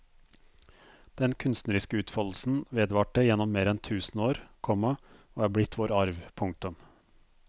Den kunstneriske utfoldelsen vedvarte gjennom mer enn tusen år, komma og er blitt vår arv. punktum